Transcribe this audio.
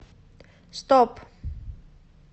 стоп